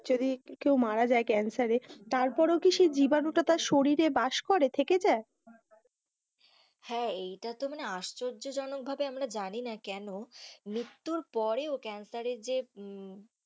যদি কেও মারা যায় ক্যান্সার এ তারপরেও কি সেই জীবাণুটা তার শরীরে বাস করে থেকে যায়, হ্যাঁ, এই টা তো আশ্চর্য জনক ভাবে আমরা জানিনা কেন মৃত্যুর পরেও ক্যান্সার এর যে. হম